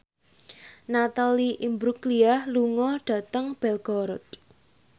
Natalie Imbruglia lunga dhateng Belgorod